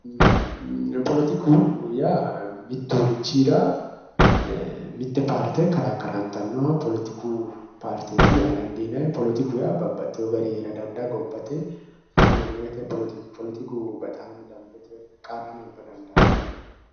Politiku yaa mutturichira mitte paarte karrakkarantanno paarteeti yaa dandiinanni politiku yaa babbaxxewo garinni hee'ra dandaanno gobbate ikonoomete politiku bexaami danbete qarrano abba dandaanno